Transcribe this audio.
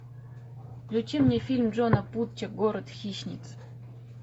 включи мне фильм джона путча город хищниц